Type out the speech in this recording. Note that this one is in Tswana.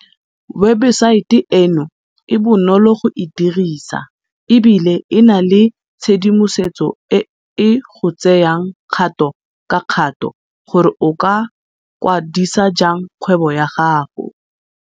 Webesaete eno e bonolo go e dirisa e bile e na le tshedimosetso e e go tseyang kgato ka kgato gore o ka kwa disa jang kgwebo ya gago.